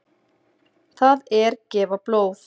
Það er gefa blóð.